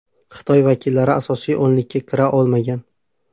Xitoy vakillari asosiy o‘nlikka kira olmagan.